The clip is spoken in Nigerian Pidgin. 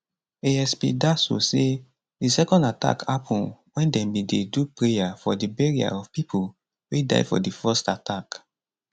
asp daso say di second attack happun wen dem bin dey do prayer for di burial of pipo wey die for di first attack